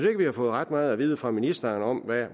at vi har fået ret meget at vide fra ministeren om